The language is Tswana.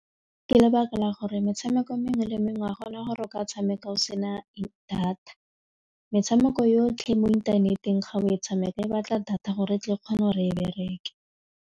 Ke lebaka la gore metshameko e mengwe le mengwe ga gona gore o ka e tshameka o sena data metshameko yotlhe mo inthaneteng ga o e tshameka e batla data gore e tle e kgone go re e bereke.